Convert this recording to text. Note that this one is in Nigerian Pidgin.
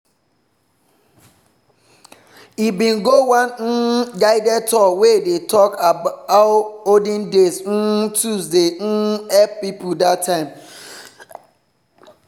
he bin go one um guided tour wey dey talk how olden days um tools dey um help people that time.